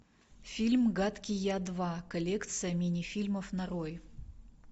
фильм гадкий я два коллекция мини фильмов нарой